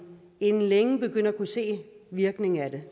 inden længe begynder at kunne se virkningen af det